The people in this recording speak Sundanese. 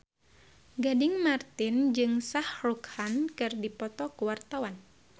Gading Marten jeung Shah Rukh Khan keur dipoto ku wartawan